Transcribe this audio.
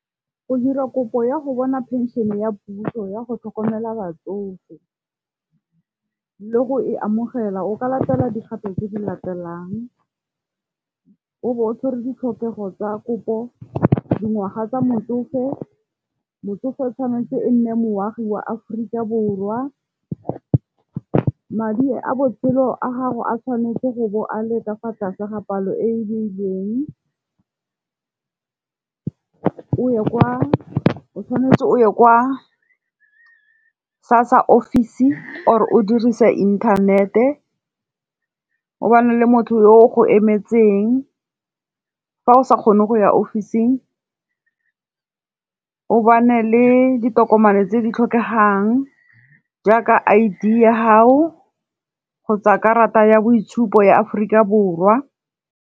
Go dira kopo ya go bona pension ya puso ya go tlhokomela batsofe le go e amogela, o ka latela digape tse di latelang. O bo o tshwere ditlhokego tsa kopo, dingwaga tsa motsofe, motsofe tshwanetse e nne moagi wa Aforika Borwa. Madi a botshelo a gago a tshwanetse go bo a le tokafatsa sa ga palo e e beilweng. O tshwanetse o ye kwa SASSA ofisi or o dirise inthanete. O bane le motho yo o go emetseng fa o sa kgone go ya ofising. O bane le ditokomane tse di tlhokegang jaaka I_D ya ga'o kgotsa karata ya boitshupo ya Aforika Borwa.